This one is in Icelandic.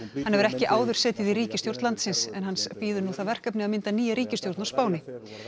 hann hefur ekki áður setið í ríkisstjórn landsins en hans bíður nú það verkefni að mynda nýja ríkisstjórn á Spáni